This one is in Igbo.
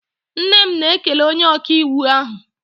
Nne m na-ekele onye ọkaiwu ahụ